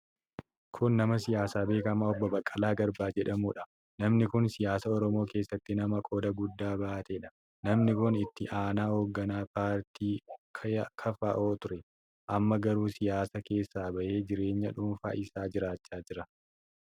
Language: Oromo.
Kun nama siyaasaa beekamaa Obbo Baqqalaa Garbaa jedhamuudha. Namni kun siyaasa Oromoo keessatti nama qooda guddaa bahateedha. Namni kun Itti Aanaa hoogganaa paartii KFO ture. Amma garuu siyaasa keessaa bahee jireenya dhuunfaa isaa jiraachaa jira.